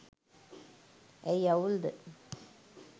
ඇයි අවුල්ද